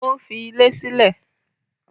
Ó fi ilé sílẹ̀?